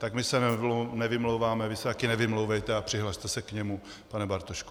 Tak my se nevymlouváme, vy se také nevymlouvejte a přihlaste se k němu, pane Bartošku.